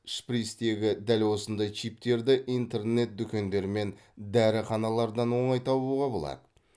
шприцтегі дәл осындай чиптерді интернет дүкендер мен дәріханалардан оңай табуға болады